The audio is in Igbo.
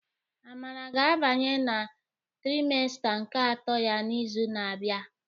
Amara ga-abanye na trimesta nke atọ ya n'izu na-abịa.